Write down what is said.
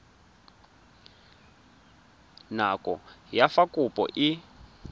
nako ya fa kopo e